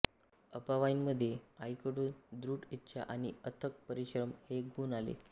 अवाबाईंमध्ये आईकडून दृढ इच्छा आणि अथक परिश्रम हे गुण आले